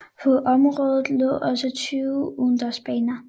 På området lå også 20 udendørsbaner